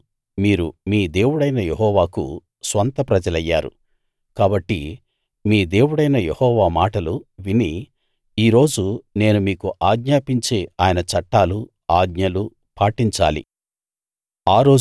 ఈనాడు మీరు మీ దేవుడైన యెహోవాకు స్వంత ప్రజలయ్యారు కాబట్టి మీ దేవుడైన యెహోవా మాటలు విని ఈ రోజు నేను మీకు ఆజ్ఞాపించే ఆయన చట్టాలూ ఆజ్ఞలూ పాటించాలి